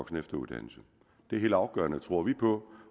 og efteruddannelse det er helt afgørende tror vi på